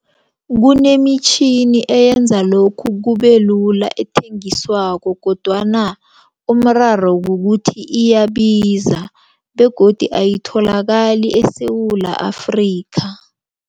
Kunemitjhini eyenza lokhu kubelula ethengiswako kodwana umraro kukuthi iyabiza begodu ayitholakali eSewula Afrika.